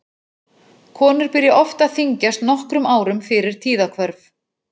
Konur byrja oft að þyngjast nokkrum árum fyrir tíðahvörf.